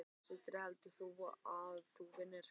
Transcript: Sindri: Heldur þú að þú vinnir?